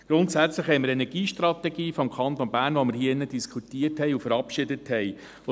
Grundsätzlich haben wir eine Energiestrategie des Kantons Bern, die wir hier drin diskutiert und verabschiedet haben.